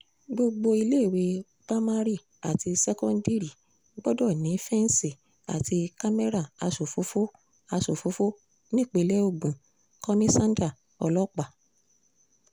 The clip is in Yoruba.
gbogbo iléèwé pa mari àti ṣẹ́kóńdírì gbọ́dọ̀ ní fẹ́ǹsì àti kámẹ́rà aṣòfófó aṣòfófó nípìnlẹ̀ ogun -kọmísáńdà ọlọ́pàá